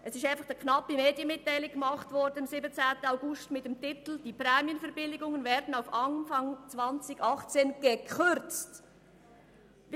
Am 17. 08. 2017 wurde eine kurze Medienmitteilung mit dem Titel «Die Prämienverbilligungen werden auf Anfang 2018 gekürzt» herausgegeben.